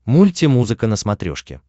мультимузыка на смотрешке